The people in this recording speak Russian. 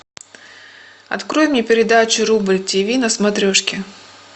открой мне передачу рубль тв на смотрешке